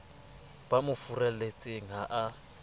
ba mo furalletseng ha a